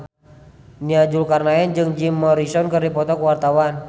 Nia Zulkarnaen jeung Jim Morrison keur dipoto ku wartawan